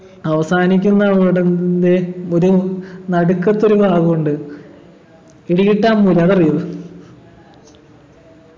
അവസാനിക്കുന്ന അവിടെന്നെ ഒരു നടുക്കത്തൊരു ഭാഗുണ്ട് പിടികിട്ടാമ്മൂല അതറിയോ